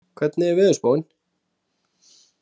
Tómas, hvernig er veðurspáin?